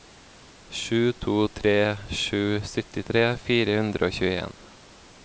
sju to tre sju syttitre fire hundre og tjueen